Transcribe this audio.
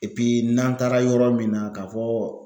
n'an taara yɔrɔ min na ka fɔ